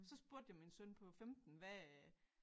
Så spurgte jeg min søn på 15 hvad